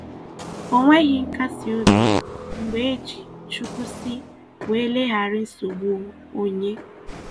O nweghị nkasi obi mgbe e ji "Chukwu sị" wee leghara nsogbu onye.